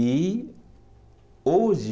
E hoje